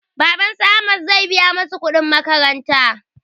Baban su ahmad zai biya masu kuɗin makaranta